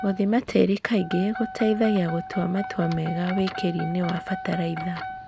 Gũthima tĩri kaingĩ gũteithagia gũtua matua mega wĩkĩrini wa bataraitha.